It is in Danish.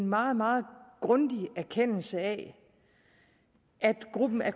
meget meget grundig erkendelse af at gruppen af